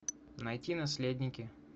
найти наследники